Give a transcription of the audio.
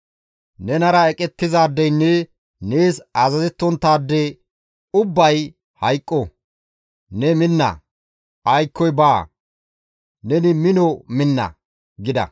Nenara eqettizaadeynne nees azazettonttaade ubbay hayqqo; ne minna; aykkoy baa, ne mino minna» gida.